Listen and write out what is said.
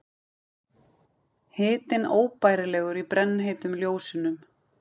Hitinn óbærilegur í brennheitum ljósunum.